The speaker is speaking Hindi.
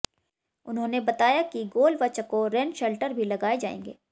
उन्होंने बताया कि गोल व चकोर रेन शेल्टर भी लगाए जाएंगे